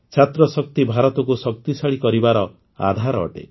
ଛାତ୍ରଶକ୍ତି ଭାରତକୁ ଶକ୍ତିଶାଳୀ କରିବାର ଆଧାର ଅଟେ